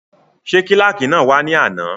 Ṣé kílàkì náà wá ní àná?